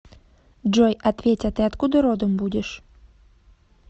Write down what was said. джой ответь а ты откуда родом будешь